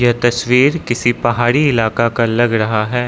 तस्वीर किसी पहाड़ी इलाका का लग रहा है।